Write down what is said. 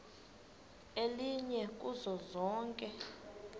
elinye kuzo zonke